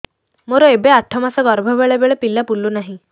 ମୋର ଏବେ ଆଠ ମାସ ଗର୍ଭ ବେଳେ ବେଳେ ପିଲା ବୁଲୁ ନାହିଁ